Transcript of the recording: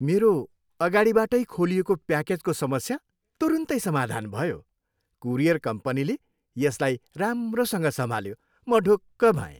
मेरो अगाडिबाटै खोलिएको प्याकेजको समस्या तुरुन्तै समाधान भयो। कुरियर कम्पनीले यसलाई राम्रोसँग सम्हाल्यो, म ढुक्क भएँ।